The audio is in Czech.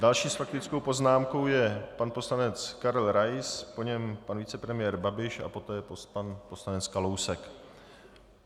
Další s faktickou poznámkou je pan poslanec Karel Rais, po něm pan vicepremiér Babiš a poté pan poslanec Kalousek.